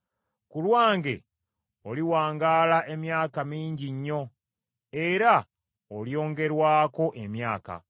Ku lwange oliwangaala emyaka mingi nnyo, era olyongerwako emyaka.